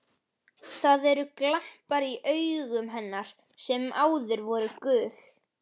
Það eru glampar í augum hennar sem áður voru gul.